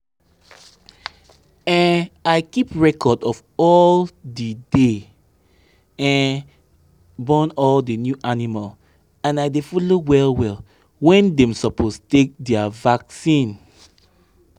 um i keep record of all the day dey um born all the new animal and i dey follow well-well when dem suppose take dia vaccine.